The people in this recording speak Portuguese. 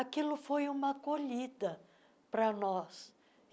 Aquilo foi uma acolhida para nós.